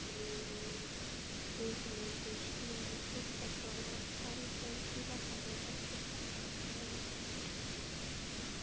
Ingimundur Níels Óskarsson ef hann stendur í lappirnar Besti samherjinn?